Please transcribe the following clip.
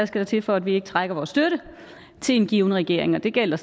skal til for at vi ikke trækker vores støtte til en given regering og det gælder